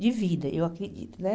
de vida, eu acredito, né?